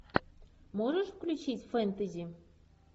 можешь включить фэнтези